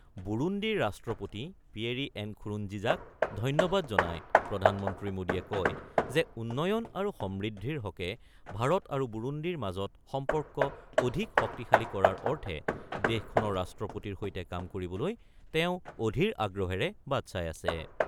বুৰুন্দিৰ ৰাষ্ট্ৰপতি Pierre Nkurunziza ধন্যবাদ জনাই প্ৰধানমন্ত্ৰী মোদীয়ে কয় যে, উন্নয়ন আৰু সমৃদ্ধিৰ হকে ভাৰত আৰু বুৰুন্দিৰ মাজত সম্পৰ্ক অধিক শক্তিশালী কৰাৰ অৰ্থে দেশখনৰ ৰাষ্ট্ৰপতিৰ সৈতে কাম কৰিবলৈ তেওঁ অধীৰ আগ্ৰহেৰে বাট চাই আছে।